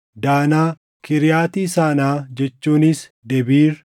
Danaa, Kiriyaati Sanaa jechuunis Debiir,